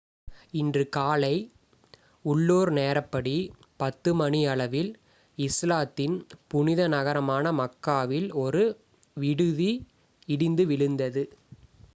இன்று காலை உள்ளூர் நேரப்படி,10 மணியளவில் இஸ்லாத்தின் புனித நகரமான மக்காவில் ஒரு விடுதி இடிந்து விழுந்தது